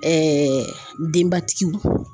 denbatigiw.